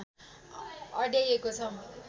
अड्याइएको छ